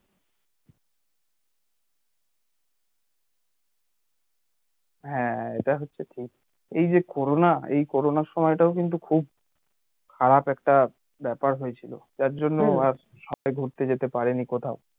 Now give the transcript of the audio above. হ্যাঁ এটা হচ্ছে ঠিক এই যে corona এই corona র সময়টাও কিন্তু খুব খারাপ একটা ব্যাপার হয়েছিল যার জন্য আর সবাই ঘুরতে যেতে পারে নি কোথাও